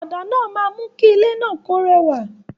Ọ̀dà náà máa mú kí ilé náà ó rewa